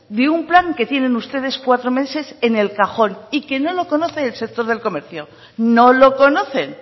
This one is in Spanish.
de un plan que tienen ustedes cuatro meses en el cajón y que no lo conoce el sector del comercio no lo conocen